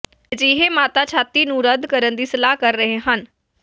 ਅਜਿਹੇ ਮਾਤਾ ਛਾਤੀ ਨੂੰ ਰੱਦ ਕਰਨ ਦੀ ਸਲਾਹ ਕਰ ਰਹੇ ਹਨ